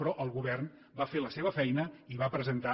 però el govern va fer la seva feina i va presentar